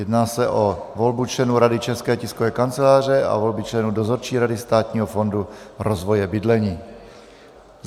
Jedná se o volbu členů Rady České tiskové kanceláře a volby členů Dozorčí rady Státního fondu rozvoje bydlení.